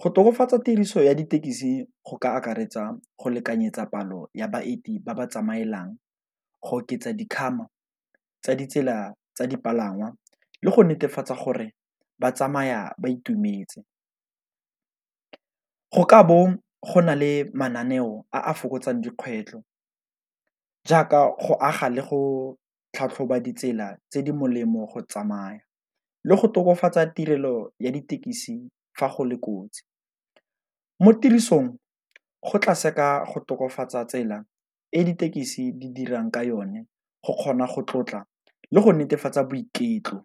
Go tokafatsa tiriso ya ditekisi go ka akaretsa go lekanyetsa palo ya baeti ba ba tsamaelang, go oketsa tsa ditsela tsa dipalangwa le go netefatsa gore ba tsamaya ba itumetse. Go ka bo go na le mananeo a fokotsang dikgwetlho jaaka go aga le go tlhatlhoba ditsela tse di molemo go tsamaya, le go tokafatsa tirelo ya ditekisi fa go le kotsi mo tirisong go tla seka go tokafatsa tsela e ditekisi di dirang ka yone go kgona go tlotla le go netefatsa boiketlo.